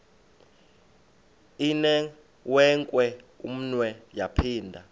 inewenkwe umnwe yaphinda